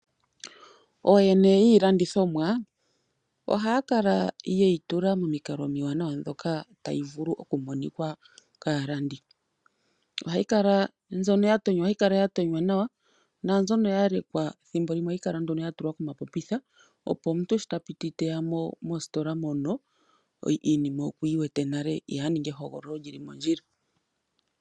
Ooyene yiilandithomwa ohaya kala ye yi tula momikalo omiwanawa ndhoka tayi vulu okumonikwa kaalandi. Mbyono ya tonywa ohayi kala ya tonywa nawa. Naambyono ya lekwa thimbo limwe ohayi kala nduno ya tulwa komapopitha opo omuntu sho ta piti teya mositola mono iinima okuyi wete nale ye aninge ehogololo li li mondjila.